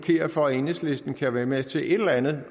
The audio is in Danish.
hinder for at enhedslisten kan være med til et eller andet